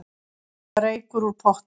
Reykur úr potti